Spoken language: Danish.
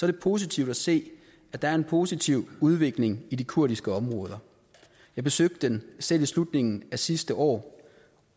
det positivt at se at der er en positiv udvikling i de kurdiske områder jeg besøgte dem selv i slutningen af sidste år